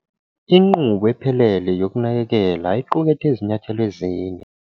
Inqubo ephelele yokunakekela iqukethe izinyathelo ezine.